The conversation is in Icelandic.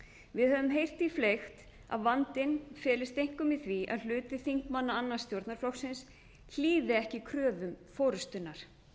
við höfum heyrt því fleygt að vandinn felist einkum í því að hluti þingmanna annars stjórnarflokksins hlýði ekki kröfum forustunnar